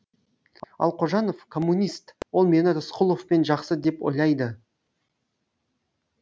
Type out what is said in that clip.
ал қожанов коммунист ол мені рысқұловпен жақсы деп ойлайды